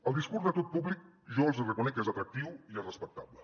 el discurs de tot públic jo els hi reconec que és atractiu i és respectable